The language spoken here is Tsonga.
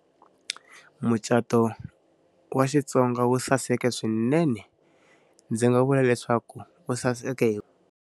Mucato wa Xitsonga wu saseka swinene. Ndzi nga vula leswaku wu saseke .